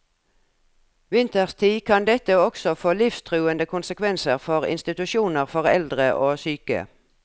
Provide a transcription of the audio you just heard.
Vinterstid kan dette også få livstruende konsekvenser ved institusjoner for eldre og syke.